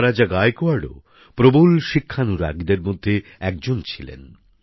মহারাজা গায়কোয়াড়ও প্রবল শিক্ষানুরাগীদের মধ্যে একজন ছিলেন